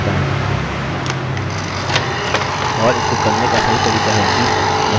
और इसको करने का सही तरीका है कि यहाँ आएँ और अपने वेरिएबल्स को सेट करें